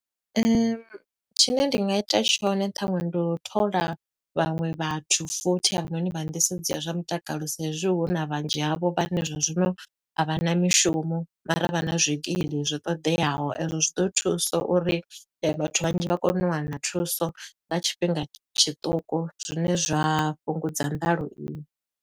Tshine nda nga ita tshone ṱhaṅwe ndi u thola vhaṅwe vhathu futhi hafhanoni vha nḓisedzo ya zwa mutakalo. Sa i zwi huna vhunzhi havho vhane zwo zwino a vha na mishumo, mara vha na zwikili zwo ṱoḓeaho. E zwo zwi ḓo thusa uri vhathu vhanzhi vha kone u wana thuso nga tshifhinga tshiṱuku, zwine zwa fhungudza nḓalo iyi.